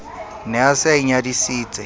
ne a se a inyadisitse